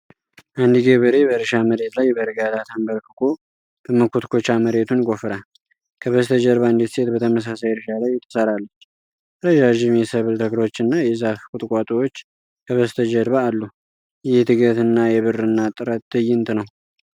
አንድ ገበሬ በእርሻ መሬት ላይ በእርጋታ ተንበርክኮ በመኮትኮቻ መሬቱን ይቆፍራል። ከበስተጀርባ አንዲት ሴት በተመሳሳይ እርሻ ላይ ትሰራለች። ረዣዥም የሰብል ተክሎችና የዛፍ ቁጥቋጦዎች ከበስተጀርባ አሉ። ይህ የትጋትና የግብርና ጥረት ትዕይንት ነው።